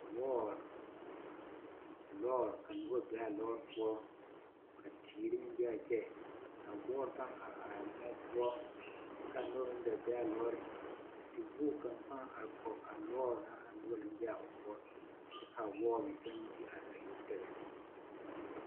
Lɔɔre, lɔɔre, ka nobɔ be a lɔɔre poɔ, ka teere meŋ be a kyɛ, a wɔɔre pãã are araa moɔ poɔ kyɛ k'a nobɔ meŋ gaa be a lɔɔreŋ ka tewogi kaŋ pãã are kɔge a lɔɔre na a noba naŋ be a o poɔ kyɛ k'a wɔɔre meŋ te are a yoŋ tɛgɛ.